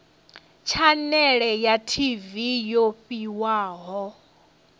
tshanele ya tv yo fhiwaho